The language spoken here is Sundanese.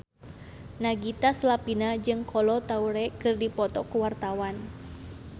Nagita Slavina jeung Kolo Taure keur dipoto ku wartawan